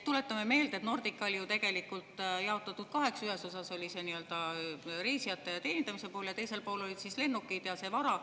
Tuletame meelde, et Nordica oli ju tegelikult jaotatud kaheks: ühes osas oli reisijate teenindamise pool ja teisel pool olid lennukid ja muu vara.